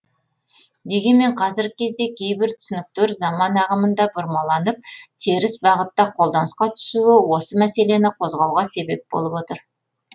дегенмен қазіргі кезде кейбір түсініктер заман ағымында бұрмаланып теріс бағытта қолданысқа түсуі осы мәселені қозғауға себеп болып отыр